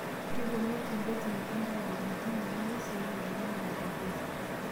Kepuonu watembezi Uganda aadol ntimi oo ng'uesi oo wuejitin e watembezi